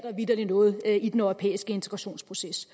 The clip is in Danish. noget i den europæiske integrationsproces